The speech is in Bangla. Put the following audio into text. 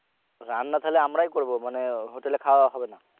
রান্না তাহলে আমরাই করবো মানে hotel এ খাওয়া হবে না